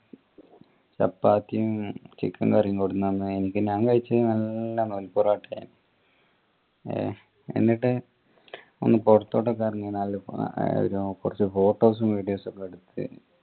ചപ്പാത്തിയും chicken curry യും കൊടുന്ന് തന്ന് എനിക്ക് ഞാൻ കഴിച് നല്ല നൂൽ പൊറോട്ട ഏഹ് എന്നിട്ട് ഒന്ന് പൊറത്തോട്ടൊക്കെ ഇറങ്ങി കൊറച് photos videos ഒക്കെ എടത്തിട്ട്